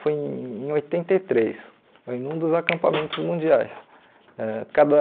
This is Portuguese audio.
Foi em oitenta e três, foi num dos acampamentos mundiais. Ãh cada